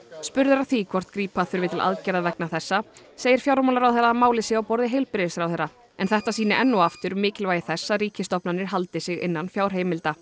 spurður að því hvort grípa þurfi til aðgerða vegna þessa segir fjármálaráðherra að málið sé á borði heilbrigðisráðherra en þetta sýni enn og aftur mikilvægi þess að ríkisstofnanir haldi sig innan fjárheimilda